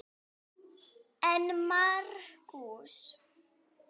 En Markús